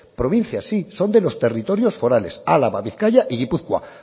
provincias sí son de los territorios forales álava bizkaia y gipuzkoa